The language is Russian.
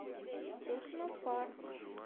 технопарк